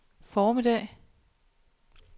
formiddag